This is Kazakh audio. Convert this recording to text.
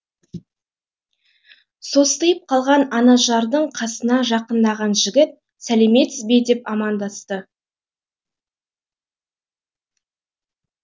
состиып қалған анажардың қасына жақындаған жігіт сәлеметсіз бе деп амандасты